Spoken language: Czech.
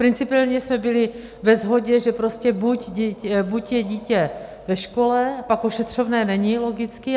Principiálně jsme byli ve shodě, že prostě buď je dítě ve škole, pak ošetřovné není logicky.